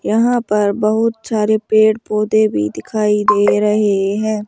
यहां पर बहुत सारे पेड़ पौधे भी दिखाई दे रहे हैं।